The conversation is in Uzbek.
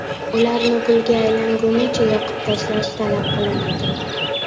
Ularni kulga aylangunicha yoqib tashlash talab qilinadi.